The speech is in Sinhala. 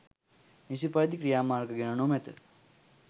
නිසි පරිදි ක්‍රියාමාර්ග ගෙන නොමැත.